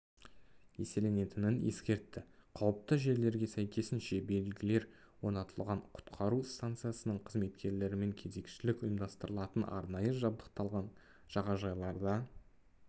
еселенетінін ескертті қауіпті жерлерге сәйкесінше белгілер орнатылған құтқару стансасының қызметкерлерімен кезекшілік ұйымдастырылатын арнайы жабдықталған жағажайларда